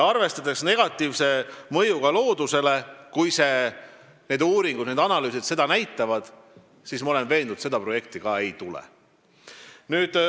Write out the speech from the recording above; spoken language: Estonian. Arvestades negatiivset mõju loodusele – kui uuringud ja analüüsid seda näitavad –, ma olen veendunud, et seda projekti ei tule.